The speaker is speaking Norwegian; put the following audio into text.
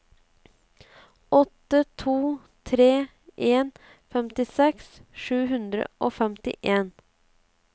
åtte to tre en femtiseks sju hundre og femtien